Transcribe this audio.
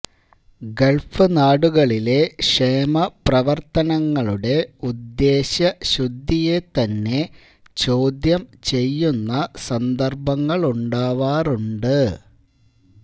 Gulf നാടുകളിലെ ക്ഷേമപ്രവർത്തനങ്ങളുടെ ഉദ്ദേശ്യ ശുദ്ധിയെ തന്നെ ചോദ്യം ചെയ്യുന്ന സന്ദർഭങ്ങളുമുണ്ടാവാറുണ്ട്